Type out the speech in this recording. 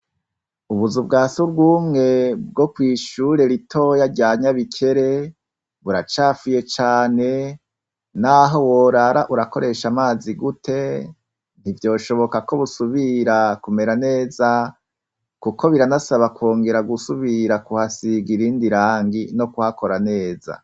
Ubuzu bwasubwumwe bwo kw'ishure ritoya rya nyabikere buracafuye cane naho worara urakoresha amazi gute ntivyoshoboka ko busubira kumera neza kuko biranasaba kongera gusubira kuhasiga irindi rangi no kuhakora neza.